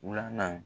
Wula